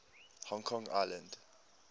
hong kong island